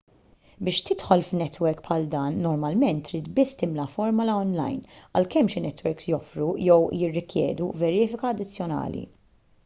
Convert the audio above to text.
biex tidħol f'netwerk bħal dan normalment trid biss timla formola onlajn għalkemm xi netwerks joffru jew jirrikjedu verifika addizzjonali